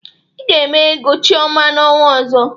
Ị ga-eme ego Chiọma n'ọnwa ọzọ!